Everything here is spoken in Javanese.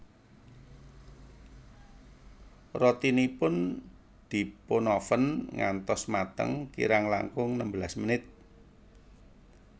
Rotinipun dipunoven ngantos mateng kirang langkung nembelas menit